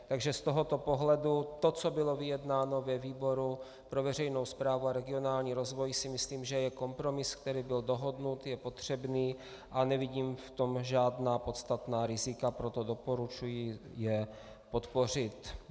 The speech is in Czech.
Takže z tohoto pohledu to, co bylo vyjednáno ve výboru pro veřejnou správu a regionální rozvoj, si myslím, že je kompromis, který byl dohodnut, je potřebný, a nevidím v tom žádná podstatná rizika, proto doporučuji je podpořit.